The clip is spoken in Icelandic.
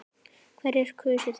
Hverjir kusu þig?